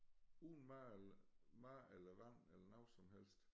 Uden mad eller mad eller vand eller noget som helst